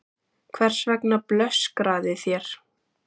Hvers vegna blöskraði þér?